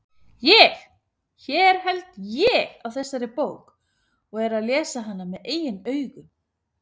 ÉG, hér held ÉG á þessari bók og er að lesa hana með eigin augum.